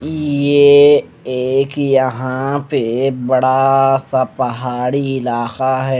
ये एक यहां पे बड़ा सा पहाड़ी इलाका है।